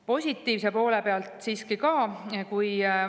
Positiivse poole pealt siiski ka.